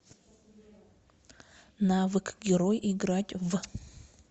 навык герой играть в